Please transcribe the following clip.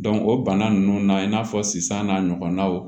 o bana ninnu na i n'a fɔ sisan n'a ɲɔgɔnnaw